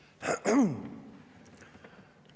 Aitäh!